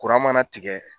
mana tigɛ